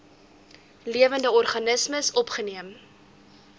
lewende organismes opgeneem